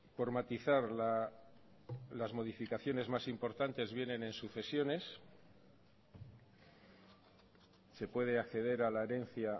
por matizar las modificaciones más importantes vienen en sucesiones se puede acceder a la herencia